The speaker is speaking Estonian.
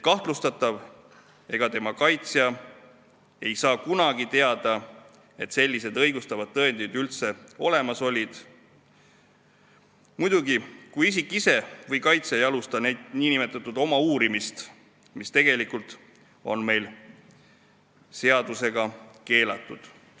Kahtlustatav ega tema kaitsja ei saa kunagi teada, et sellised õigustavad tõendid üldse olemas olid, muidugi, kui isik ise või kaitsja ei alusta nn oma uurimist, mis on meil seadusega keelatud.